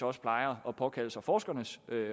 også plejer at påkalde sig forskernes